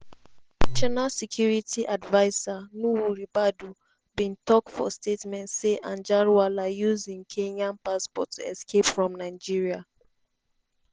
national security adviser nuhu ribadu bin tok for statement say anjarwalla use im kenyan passport to escape from nigeria.